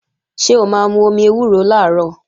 Ṣé o máa mú omi ewúro làárọ̀?